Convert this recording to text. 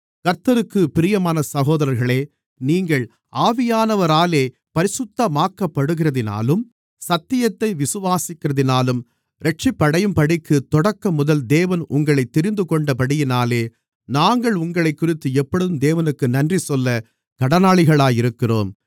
கர்த்தருக்குப் பிரியமான சகோதரர்களே நீங்கள் ஆவியானவராலே பரிசுத்தமாக்கப்படுகிறதினாலும் சத்தியத்தை விசுவாசிக்கிறதினாலும் இரட்சிப்படையும்படிக்கு தொடக்கம் முதல் தேவன் உங்களைத் தெரிந்துகொண்டபடியினாலே நாங்கள் உங்களைக்குறித்து எப்பொழுதும் தேவனுக்கு நன்றிசொல்ல கடனாளிகளாக இருக்கிறோம்